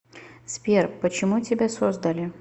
сбер почему тебя создали